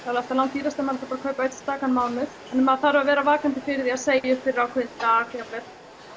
alltaf langdýrast ef maður ætlar að kaupa einn stakan mánuð svo maður þarf að vera vakandi fyrir því að segja upp fyrir ákveðinn dag jafn vel